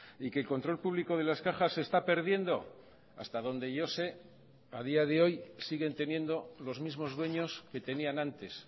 y que el control publico de las cajas se está perdiendo hasta donde yo sé a día de hoy siguen teniendo los mismos dueños que tenían antes